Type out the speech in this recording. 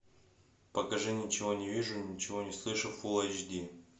покажи ничего не вижу ничего не слышу фулл эйч ди